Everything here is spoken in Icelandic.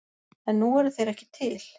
En nú eru þeir ekki til.